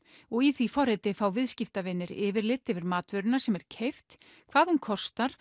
og í því forriti fá viðskiptavinir yfirlit yfir matvöruna sem er keypt hvað hún kostar